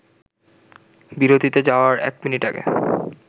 বিরতিতে যাওয়ার এক মিনিট আগে